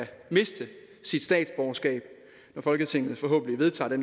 miste sit statsborgerskab når folketinget forhåbentlig vedtager det